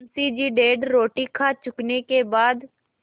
मुंशी जी डेढ़ रोटी खा चुकने के बाद